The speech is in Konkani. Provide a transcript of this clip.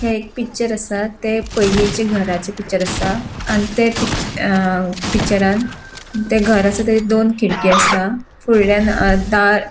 हे एक पिक्चर आसा ते पईलीचे घराचे पिक्चर आसा आणि ते पिककच अ पिक्चरान ते घर आसा आणि दोन खिडकी आसा फुडल्यान अ दार --